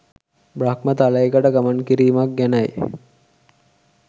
බ්‍රහ්ම තලයකට ගමන් කිරීමක් ගැනයි.